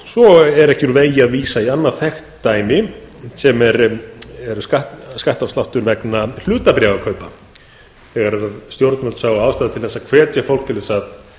svo er ekki úr vegi að vísa í annað þekkt dæmi sem er skattafsláttur vegna hlutabréfakaupa þegar stjórnvöld sáu ástæðu til að hvetja fólk til að